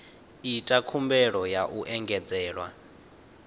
ita khumbelo ya u engedzelwa